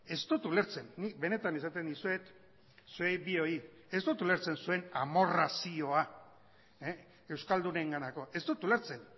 ez dut ulertzen nik benetan esaten dizuet zuei bioi ez dut ulertzen zuen amorrazioa euskaldunenganako ez dut ulertzen